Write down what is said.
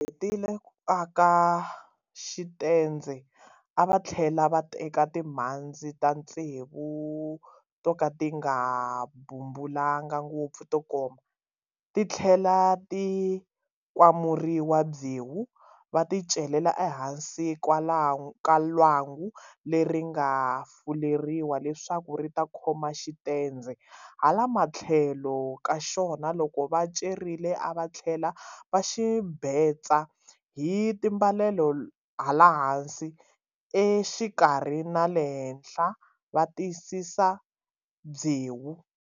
Hetile ku aka xitendze a va tlhela va teka timhandzi ta tsevu to ka ti nga bumbulangi ngopfu to koma, ti tlhela ti kwamuriwa byewu, va ti celela exikarhi ka lwangu leri nga fuleriwa leswaku ri ta khoma xitendze, hala matlhelo ka xona loko va celerile a va tlhela va xi betsa hi timbalelo hala hansi, exikarhi na le henhla va tiyisisa hi byewu.